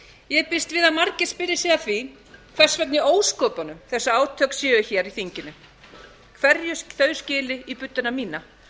ég býst við að margir spyrji sig að því hvers vegna í ósköpunum þessi átök séu hér í þinginu hverju þau skili í budduna mína